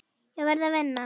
Ég verð að vinna.